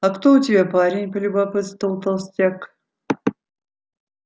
а кто у тебя парень полюбопытствовал толстяк